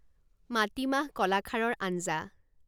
মাটিমাহ কলাখাৰৰ আঞ্জা